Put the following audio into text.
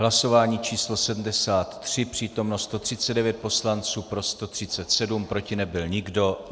Hlasování číslo 73, přítomno 139 poslanců, pro 137, proti nebyl nikdo.